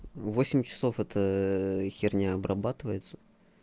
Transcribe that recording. восемь часов эта херня обрабатывается